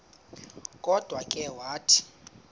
kodwa ke wathi